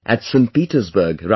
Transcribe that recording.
Petersburg, Russia